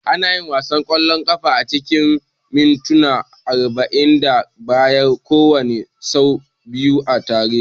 Ana yin wasan ƙwallon kafa acikin mintuna arba'in da biyar kowanne, sau biyu a tare.